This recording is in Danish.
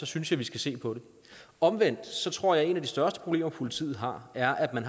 synes jeg vi skal se på det omvendt tror jeg at et af de største problemer politiet har er at man